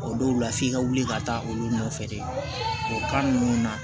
O dɔw la f'i ka wuli ka taa olu nɔfɛ de o kan ninnu na